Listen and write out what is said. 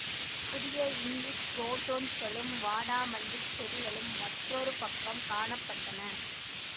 புதிய இங்கிலீஷ் குரோட்டன்ஸ்களும் வாடாமல்லி செடிகளும் மற்றொரு பக்கம் காண பட்டன